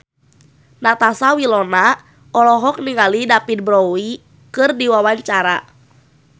Natasha Wilona olohok ningali David Bowie keur diwawancara